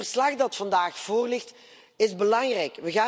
Het verslag dat vandaag voorligt, is belangrijk.